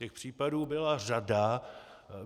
Těch případů byla řada.